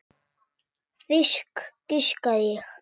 Fisk, giskaði ég.